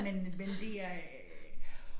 Men men det er øh